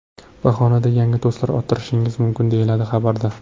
Bahonada yangi do‘stlar orttirishingiz mumkin”, deyiladi xabarda.